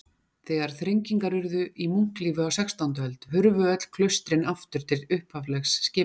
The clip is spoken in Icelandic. Þegar þrengingar urðu í munklífi á sextándu öld hurfu öll klaustrin aftur til upphaflegs skipulags.